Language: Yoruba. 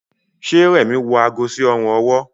Ṣe Remi wọ àgó sí Ọrùn ọwọ́